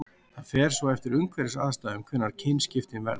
það fer svo eftir umhverfisaðstæðum hvenær kynskiptin verða